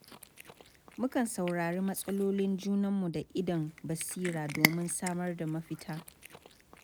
Mukan saurari matsalolin junanmu da idon basira domin samar da mafita.